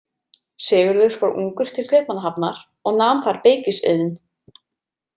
Sigurður fór ungur til Kaupmannahafnar og nam þar beykisiðn.